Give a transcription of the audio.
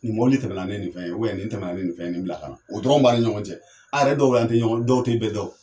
Nin mɔbili tɛmɛ na ni nin fɛn ye nin tɛna na ni nin fɛn, nin bila ka na ,o dɔrɔn b'an ni ɲɔgɔn cɛ . A yɛrɛ dɔw la an tɛ ɲɔgɔn dɔw tɛ bɛɛ dɔn.